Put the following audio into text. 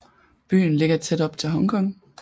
Byen ligger tæt op til Hongkong